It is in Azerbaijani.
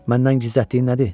Məndən gizlətdiyin nədir?